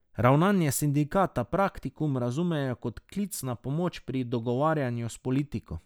Ravnanje sindikata Praktikum razumejo kot klic na pomoč pri dogovarjanju s politiko.